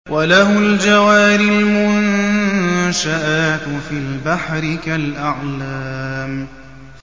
وَلَهُ الْجَوَارِ الْمُنشَآتُ فِي الْبَحْرِ كَالْأَعْلَامِ